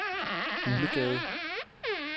Uglegade